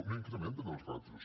no incrementen els ràtios